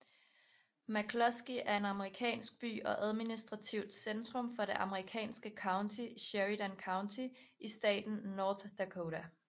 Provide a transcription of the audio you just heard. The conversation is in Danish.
McClusky er en amerikansk by og administrativt centrum for det amerikanske county Sheridan County i staten North Dakota